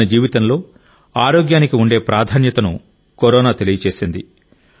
మన జీవితంలో ఆరోగ్యానికి ఉండే ప్రాధాన్యతను కరోనా తెలియజేసింది